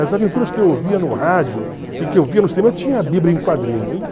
As aventuras que eu ouvia no rádio e que eu via no cinema, eu tinha a Bíblia em quadrinho.